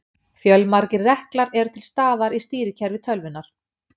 Fjölmargir reklar eru til staðar í stýrikerfi tölvunnar.